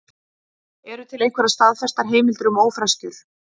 Eru til einhverjar staðfestar heimildir um ófreskjur?